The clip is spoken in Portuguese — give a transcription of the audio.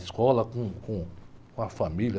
Escola com, com, com a família.